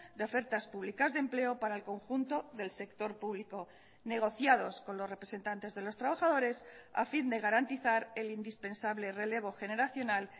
de ofertas públicas de empleo para el conjunto del sector público negociados con los representantes de los trabajadores a fin de garantizar el indispensable relevo generacional